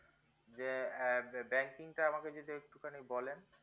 যে banking টা যদি একটু খানি বলেন